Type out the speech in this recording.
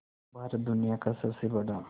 भारत दुनिया का सबसे बड़ा